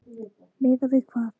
Miðað við hvað?